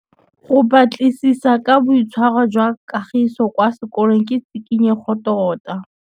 Go batlisisa ka boitshwaro jwa Kagiso kwa sekolong ke tshikinyêgô tota.